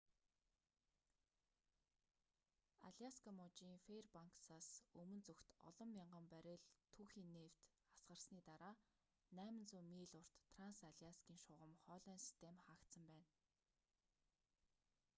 аляска мужийн фэйрбанксаас өмнө зүгт олон мянган баррель түүхий нефть асгарсны дараа 800 миль урт транс аляскийн шугам хоолойн систем хаагдсан байна